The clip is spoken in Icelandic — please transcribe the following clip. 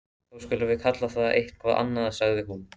Þá skulum við kalla það eitthvað annað sagði hún.